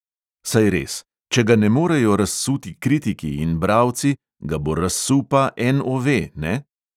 Saj res – če ga ne morejo razsuti kritiki in bralci, ga bo razsul pa NOV, ne?